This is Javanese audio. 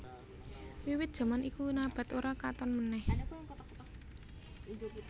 Wiwit jaman iku Nabath ora katon meneh